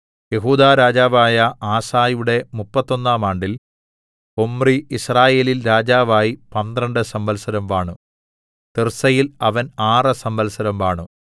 യെഹൂദാ രാജാവായ ആസയുടെ മുപ്പത്തൊന്നാം ആണ്ടിൽ ഒമ്രി യിസ്രായേലിൽ രാജാവായി പന്ത്രണ്ട് സംവത്സരം വാണു തിർസ്സയിൽ അവൻ ആറ് സംവത്സരം വാണു